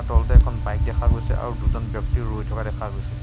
তলত এখন বাইক দেখা গৈছে আৰু দুজন ব্যক্তি ৰৈ থকা দেখা গৈছে।